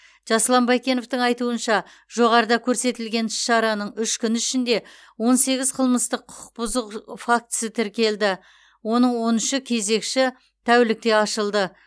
жасұлан байкеновтің айтуынша жоғарыда көрсетілген іс шараның үш күні ішінде он сегіз қылмыстық құқық бұзу фактісі тіркелді оның он үші кезекші тәулікте ашылды